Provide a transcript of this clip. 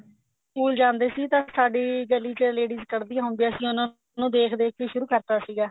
school ਜਾਂਦੇ ਸੀ ਤਾਂ ਸਾਡੀ ਗਲੀ ਚ ladies ਕੱਡਦੀਆਂ ਹੁੰਦੀਆਂ ਸੀ ਉਹਨਾਂ ਨੂੰ ਦੇਖ ਦੇਖ ਕੇ ਹੀ ਸ਼ੁਰੂ ਕਰਤਾ ਸੀਗਾ